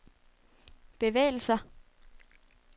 bevægelser